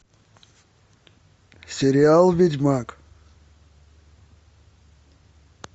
сериал ведьмак